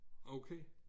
Okay